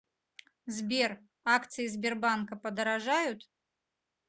сбер акции сбербанка подорожают